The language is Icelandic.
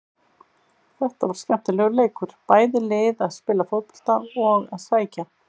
Þetta var skemmtilegur leikur, bæði lið að spila fótbolta og að sækja.